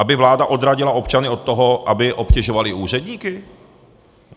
Aby vláda odradila občany od toho, aby obtěžovali úředníky?